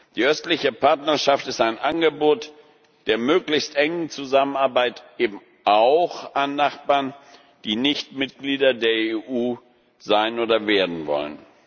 Die Östliche Partnerschaft ist ein Angebot der möglichst engen Zusammenarbeit eben auch an Nachbarn, die nicht Mitglieder der EU sein oder werden wollen.